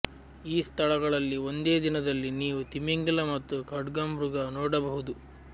ಈ ಸ್ಥಳಗಳಲ್ಲಿ ಒಂದೇ ದಿನದಲ್ಲಿ ನೀವು ತಿಮಿಂಗಿಲ ಮತ್ತು ಖಡ್ಗಮೃಗ ನೋಡಬಹುದು